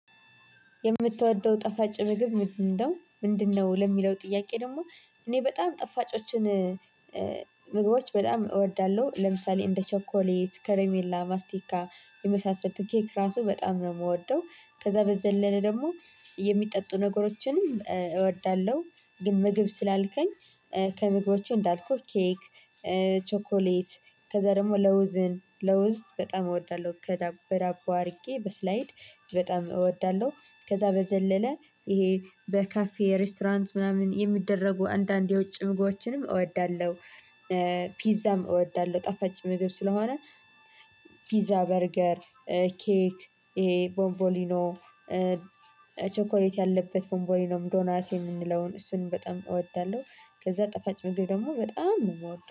"የምትወደው ጣፋጭ ምግብ ምንድነው ምንድነው?" ለሚለው ጥያቄ ደግሞ እኔ በጣም ጠፋጮችን ምግቦች በጣም እወዳለሁ። ለምሳሌ እንደ ቸኮሌት፣ ከረሜላ፣ ማስቲካ የመሳሰሉትን ኬክ ራሱ በጣም ነው የምወደው። ከዛ በዘለለ ደግሞ የሚጠጡ ነገሮችንም እወዳለሁ፤ ግን ምግብ ስላልከኝ ከምግቦቹ እንዳልኩት ኬክ ቸኮሌት፣ ከዛ ደግሞ ለውዝን ለውዝ በጣም እወዳለሁ ከዳ በዳቦ አድርጌ በስላይድ በጣም እወዳለሁ። ከዛ በዘለለ ይሄ በካፌ ሬስቶራንት ምናምን የሚደረጉ አንዳንድ የውጭ ምግቦችንም እወዳለሁ። ፒዛም እወዳለሁ። ጠፋጭ ምግብ ስለሆነ ፒዛ፣ በርገር፣ ኬክ፣ ይሄ ቦንቦሊኖ፣ ቸኮሌት ያለበት ቦንቦሊኖም ዶናት የምንለውን እሱን በጣም እወዳለሁ። ከዛ ጣፋጭ ምግብ ደግሞ በጣም የምወድ